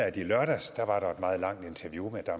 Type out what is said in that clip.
i lørdags var et meget langt interview med